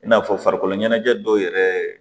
I n'a fɔ farikolo ɲɛnajɛ dɔw yɛrɛ